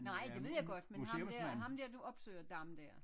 Nej det ved jeg godt men ham dér ham der du opsøger Dam dér